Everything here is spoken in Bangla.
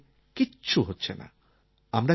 অফলাইনএ কিছু হচ্ছে না